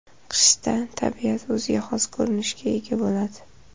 Qishda tabiat o‘ziga xos ko‘rinishga ega bo‘ladi.